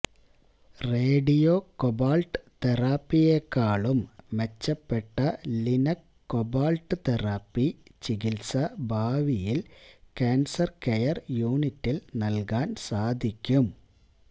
radio cobalt തെറാപ്പിയെക്കാളും മെച്ചപ്പെട്ട linac cobalt therapy ചികിത്സ ഭാവിയില് കാന്സര് കെയര് യൂണിറ്റില് നല്കാന് സാധിക്കും